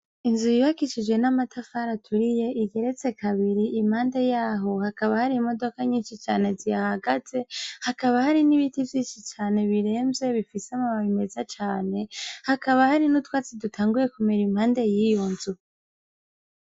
Inzu yubakishije n'amatafari aturiye, igeretse kabiri, impande y'aho hakaba hari imodoka nyinshi cane zihahagaze, hakaba hari n'ibiti vyinshi cane biremvye, bifise amababi meza cane, hakaba hari n'utwatsi dutanguye kumera impande y'iyo nzu.